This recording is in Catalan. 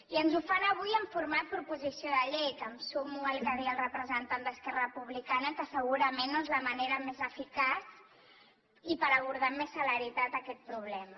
i ens ho fan avui en format proposició de llei que em sumo al que deia el representant d’esquerra republicana que segurament no és la manera més eficaç i per abordar amb més celeritat aquest problema